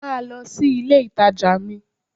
Máa lọ sí ilé ìtajà mi!